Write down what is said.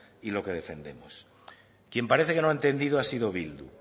y lo defendemos quien parece no lo ha entendido ha sido bildu